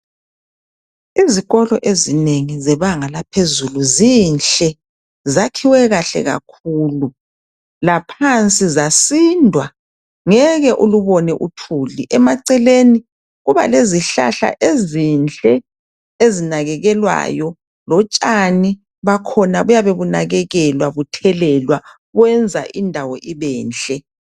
Izikolo ezinengi zebanga laphezulu zinhle zakhiwe kahle kakhulu, laphansi zasindwa ngeke ulubone uthuli, emaceleni kuba lezihlahla ezinhle ezinakekelwayo lotshani bakhona buyabe bunakekelwa buthelelwa kwenza indawo ibenhle.